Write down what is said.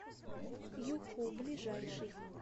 юху ближайший